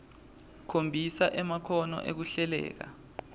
khombisa emakhono ekuhlelela